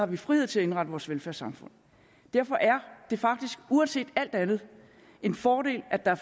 vi frihed til at indrette vores velfærdssamfund derfor er det faktisk uanset alt andet en fordel at der